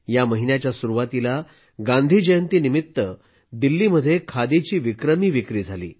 या महिन्याच्या सुरुवातीला गांधी जयंतीनिमित्त दिल्लीत खादीची विक्रमी विक्री झाली